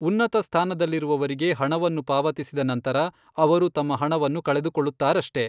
ಉನ್ನತ ಸ್ಥಾನದಲ್ಲಿರುವವರಿಗೆ ಹಣವನ್ನು ಪಾವತಿಸಿದ ನಂತರ, ಅವರು ತಮ್ಮ ಹಣವನ್ನು ಕಳೆದುಕೊಳ್ಳುತ್ತಾರಷ್ಟೆ.